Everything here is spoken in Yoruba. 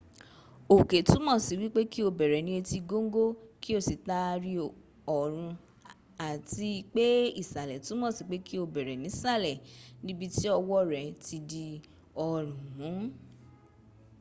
òkè túmọ̀ sí wípé kí o bẹ̀rẹ̀ ní etí góńgó kí o sì taari ọrún àti pé ìsàlẹ̀ túmọ̀ sí pé kí o bẹ̀rẹ̀ nísàlẹ̀ níbití ọwọ́ rẹ ti di ọrún mún